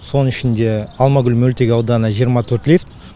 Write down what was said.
соның ішінде алмагүл мөлтек ауданы жиырма төрт лифт